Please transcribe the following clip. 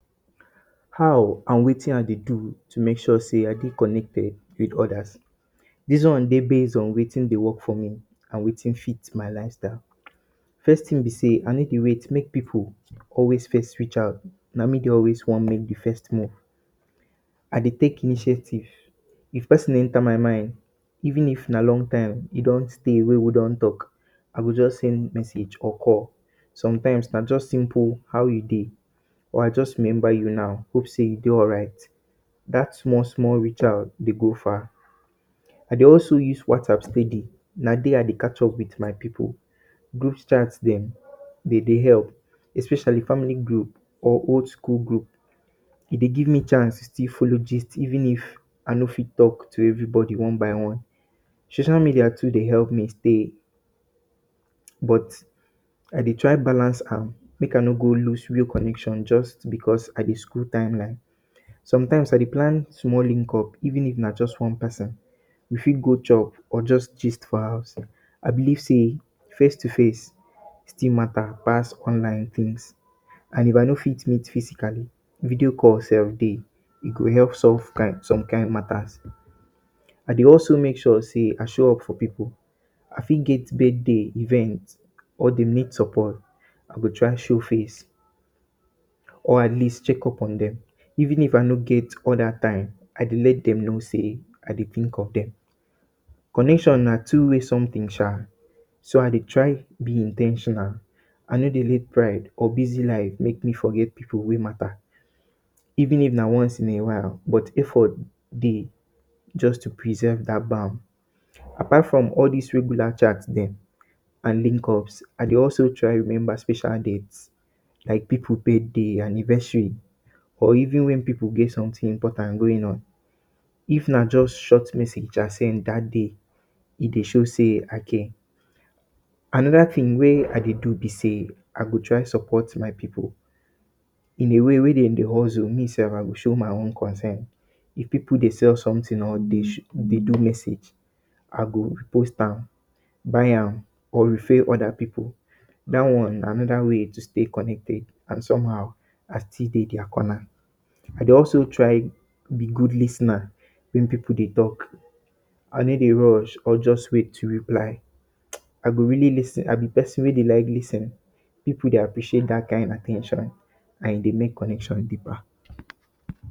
How and wetin I dey do to make sure sey I dey connected with odas. Dis one dey base on wetin dey work for me, and wetin fit my lifestyle. First tin be sey I no dey wait make pipu always first reach out. Na me dey always wan make di first move. I dey take initiative. If pesin enta my mind, even if na long time e don stay wey we don tok, I go just send message or call. Sometimes na just simple “how you dey?” or “I just rememba you now, hope sey you dey alright?” Dat small small dey reach out dey go far. I dey also use WhatsApp steady. Na there I dey catch up with my pipu. Group chats dem, de dey epp, especially family group or old school group. E dey give me chance to still follow gist even if I no fit tok to everybody one by one. Social media too dey epp me stay, but I dey try balance am, make I no go lose real connection because I dey scroll timeline. Sometimes, I dey plan small link up even if na just one pesin. We fit go chop or just gist for house. I believe sey face to face still matter pass online tins, and if I no fit meet physically, video call sef dey. E go epp solve some kain matters. I dey also make sure sey I show up for pipu. I fit get birthday, event or dem need support, I go try show face or atleast check up on dem. Even if I no get all dat time, I dey let dem know sey I dey tink of dem. Connection na two way thing sha, so I dey try be in ten tional. I no dey let pride or busy life make me forget pipu wey matter, even if na once in a while. But effort dey, just to preserve dat Apart from all dis regular chats dem and link ups, I dey also try rememba special dates, like pipu birthday, anniversary or even wen pipu get sometin important going on. If na just short message I send dat day, e dey show sey I care. Anoda tin wey I dey do be sey, I dey try support my pipu. In a way wey dem dey hustle, me sef, I go show my own concern. If pipu dey sell sometin or dey do message, I go post am, buy am or refer am. Dat one na anoda way to stay connected, and somehow, I still dey dia corner. I dey also try be good lis ten er wen pipu dey tok. I no dey rush, or just wait to reply. um I go really lis ten. I be pesin wey dey like lis ten. Pipu dey appreciate dat kain at ten tion and e dey make connection deeper.